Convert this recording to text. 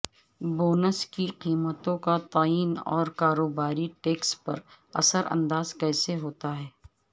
bonus کی قیمتوں کا تعین اور کاروباری ٹیکس پر اثر انداز کیسے ہوتا ہے